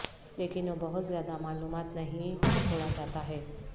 لیکن وہ بہت زیادہ معلومات نہیں چھوڑا جاتا ہے